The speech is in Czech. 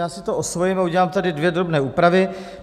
Já si to osvojím a udělám tady dvě drobné úpravy.